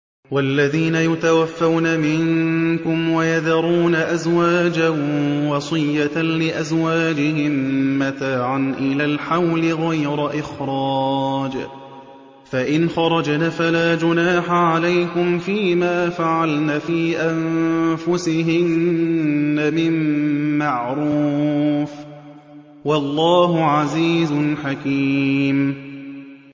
وَالَّذِينَ يُتَوَفَّوْنَ مِنكُمْ وَيَذَرُونَ أَزْوَاجًا وَصِيَّةً لِّأَزْوَاجِهِم مَّتَاعًا إِلَى الْحَوْلِ غَيْرَ إِخْرَاجٍ ۚ فَإِنْ خَرَجْنَ فَلَا جُنَاحَ عَلَيْكُمْ فِي مَا فَعَلْنَ فِي أَنفُسِهِنَّ مِن مَّعْرُوفٍ ۗ وَاللَّهُ عَزِيزٌ حَكِيمٌ